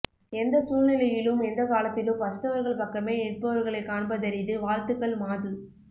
எந்த சூழ் நிலையிலும் எந்தக் காலத்திலும் பசித்தவர்கள் பக்கமே நிற்பவர்களைக்காண்பதரிது வாழ்த்துகள் மாது